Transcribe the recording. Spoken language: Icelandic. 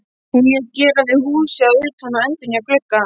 Hún lét gera við húsið að utan og endurnýja glugga.